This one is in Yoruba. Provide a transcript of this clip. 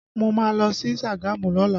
Mo má lọ sí Sagamu lọ́la